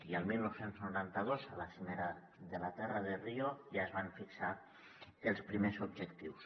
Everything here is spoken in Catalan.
i el dinou noranta dos a la cimera de la terra de rio ja es van fixar els primers objectius